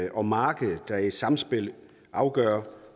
og markedet der i et samspil afgør